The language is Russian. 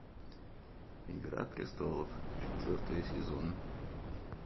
игра престолов четвертый сезон